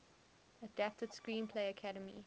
adapted screenplay academy